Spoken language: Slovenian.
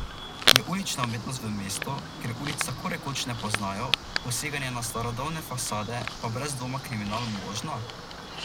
Je ulična umetnost v mestu, kjer ulic tako rekoč ne poznajo, poseganje na starodavne fasade pa brez dvoma kriminal, možna?